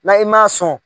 N'a i ma sɔn